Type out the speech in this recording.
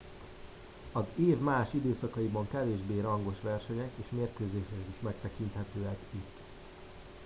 az év más időszakaiban kevésbé rangos versenyek és mérkőzések is megtekinthetők itt